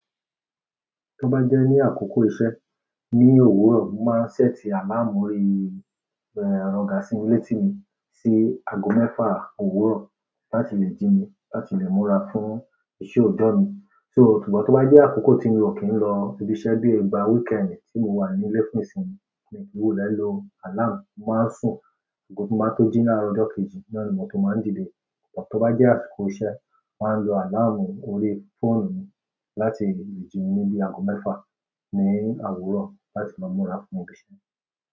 Tó bá jẹ́ ní àkókò iṣẹ́ ní òwúrọ̀, mo máa ń ṣẹ́ẹ̀tì àláàmù orí, ọ̀gà sí mi létí ni sí aago mẹ́fà òwúrọ̀ láti lè jí mi láti lè múra fún iṣẹ́ òjọ́ mi. So, ṣùgbọ́n tó bá jẹ́ àkókò tí mi ò kí ń lọ ibi iṣẹ́ bíi ìgbà weekend tí mo wà níle fún ìsinmi mii ki n wulẹ́ lò alarm, mo máa ń sùn àgọ́ ti mo ba tó jí làárọ̀ ojo kejì, náà ni mo tó máa ń dìde. Tò bá jẹ́ àsìkò iṣẹ́, màá ń lo àláàmù orí fóònù mi láti lè jí mi ní bií aago mẹ́fà ní òwúrọ̀ láti lo múra fún ibi iṣẹ́.